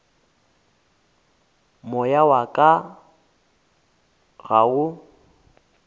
moya wa ka ga o